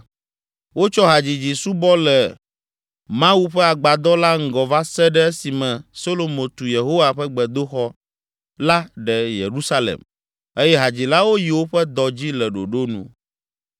Wotsɔ hadzidzi subɔ le le Mawu ƒe agbadɔ la ŋgɔ va se ɖe esime Solomo tu Yehowa ƒe gbedoxɔ la ɖe Yerusalem eye hadzilawo yi woƒe dɔ dzi le ɖoɖo nu.